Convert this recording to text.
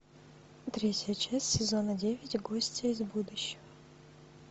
третья часть сезона девять гостья из будущего